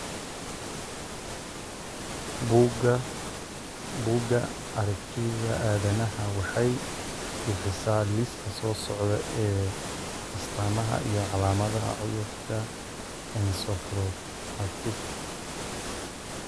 Buugga Aragtiyaha Aadanaha waxay bixisaa liiska soo socda ee astamaha iyo calaamadaha cudurka encephalomyopathy.